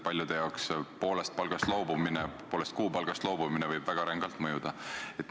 Paljude jaoks võib poolest kuupalgast loobumine väga rängalt mõjuda.